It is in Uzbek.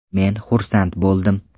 Men xursand bo‘ldim.